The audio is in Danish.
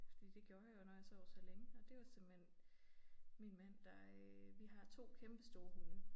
Fordi det gjorde jeg jo når jeg sov så længe og det var simpelthen min mand der øh vi har 2 kæmpestore hunde